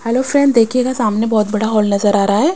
Hello friend देखिएगा सामने बहुत बड़ा हॉल नज़र आ रहा है।